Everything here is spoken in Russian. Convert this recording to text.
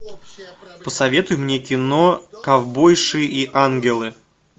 посоветуй мне кино ковбойши и ангелы